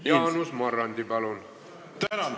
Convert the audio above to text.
Jaanus Marrandi, palun!